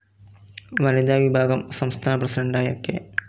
വനിതാ വിഭാഗം സംസ്ഥാന പ്രസിഡന്റായ കെ.